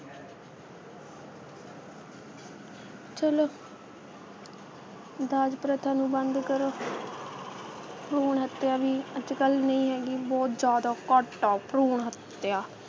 ਚੱਲੋ ਦਾਜ ਪ੍ਰਥਾ ਨੂੰ ਬੰਦ ਕਰੋ ਭਰੂਣ ਹੱਤਿਆ ਵੀ ਅੱਜ ਕੱਲ ਨਹੀਂ ਹੈਗੀ ਬਹੁਤ ਜ਼ਿਆਦਾ ਘੱਟ ਆ ਭਰੂਣ ਹੱਤਿਆ,